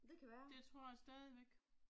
Det tror jeg stadigvæk